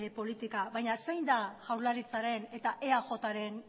politika baina zein da jaurlaritzaren eta eaj ren